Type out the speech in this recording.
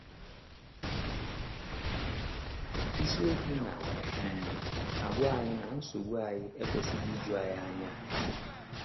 Isiokwu na um - agwa anyị na nsogbu anyị ekwesịghị iju anyị anya.